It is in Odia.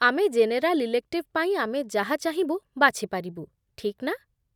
ଆମେ ଜେନେରାଲ ଇଲେକ୍ଟିଭ ପାଇଁ ଆମେ ଯାହା ଚାହିଁବୁ ବାଛି ପାରିବୁ, ଠିକ୍ ନା?